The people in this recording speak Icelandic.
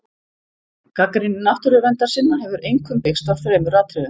Gagnrýni náttúruverndarsinna hefur einkum byggst á þremur atriðum.